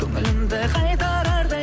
көңілімді қайтарардай